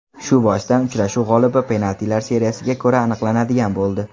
Shu boisdan uchrashuv g‘olibi penaltilar seriyasiga ko‘ra aniqlanadigan bo‘ldi.